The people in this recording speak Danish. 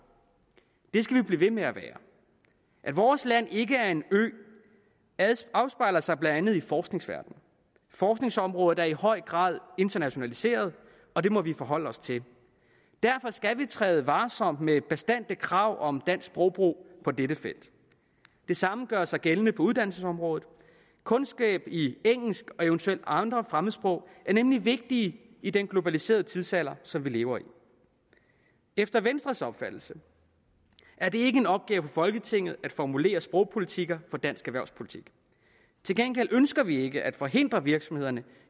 det skal vi blive ved med at være at vores land ikke er en ø afspejler sig blandt andet i forskningsverdenen forskningsområder er i høj grad internationaliseret og det må vi forholde os til derfor skal vi træde varsomt med bastante krav om dansk sprogbrug på dette felt det samme gør sig gældende på uddannelsesområdet kundskaber i engelsk og eventuelt andre fremmedsprog er nemlig vigtige i den globaliserede tidsalder som vi lever i efter venstres opfattelse er det ikke en opgave for folketinget at formulere sprogpolitikker for dansk erhvervsliv til gengæld ønsker vi ikke at forhindre virksomhederne